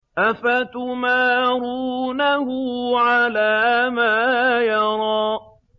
أَفَتُمَارُونَهُ عَلَىٰ مَا يَرَىٰ